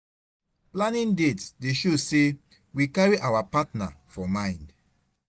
Planning dates dey show say we carry our partner for mind